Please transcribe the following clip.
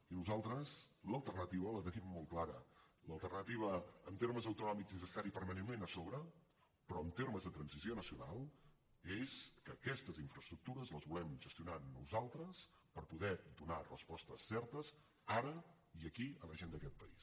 i nosaltres l’alternativa la tenim molt clara l’alternativa en termes autonòmics és estar hi permanentment a sobre però en termes de transició nacional és que aquestes infraestructures les volem gestionar nosaltres per poder donar respostes certes ara i aquí a la gent d’aquest país